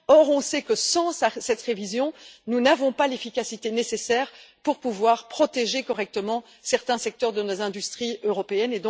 Or on sait que, sans cette révision, nous n'avons pas l'efficacité nécessaire pour pouvoir protéger correctement certains secteurs de nos industries européennes.